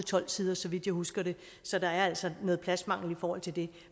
tolv sider så vidt jeg husker det så der er altså noget pladsmangel i forhold til det